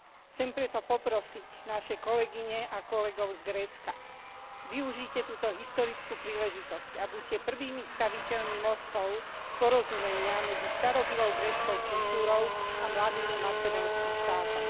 Chcem preto poprosiť naše kolegyne a kolegov z Grécka využite túto historickú príležitosť a buďte prvými staviteľmi mostov porozumenia medzi starobylou gréckou kultúrou a mladým macedónskym štátom.